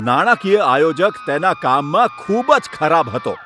નાણાકીય આયોજક તેના કામમાં ખૂબ જ ખરાબ હતો.